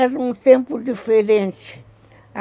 Era um tempo diferente.